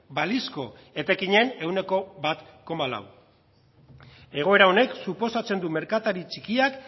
balizko etekinen ehuneko bat koma laua egoera honek suposatzen du merkatari txikiak